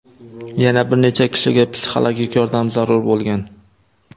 Yana bir necha kishiga psixologik yordam zarur bo‘lgan.